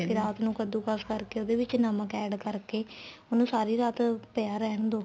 ਰਾਤ ਨੂੰ ਕੱਦੁਕਸ ਕਰਕੇ ਉਹਦੇ ਵਿੱਚ ਨਮਕ add ਕਰਕੇ ਉਹਨੂੰ ਸਾਰੀ ਰਾਤ ਪਿਆ ਰਹਿਣ ਦੋ